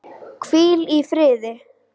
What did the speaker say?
Hvíl í friði.